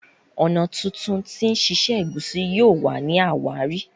ọnà títún tí sise egusi yóò wá ní àwárí.